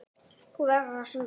Þú verður að syngja.